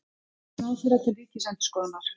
Svör ráðherra til Ríkisendurskoðunar